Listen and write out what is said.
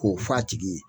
K'o f'a tigi ye